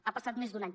ha passat més d’un any